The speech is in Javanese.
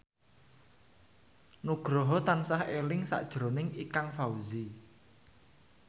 Nugroho tansah eling sakjroning Ikang Fawzi